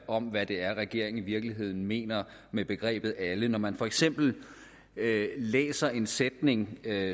om hvad det er regeringen i virkeligheden mener med begrebet alle når man for eksempel læser en sætning